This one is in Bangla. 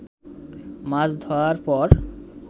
মাছ ধোয়ার পর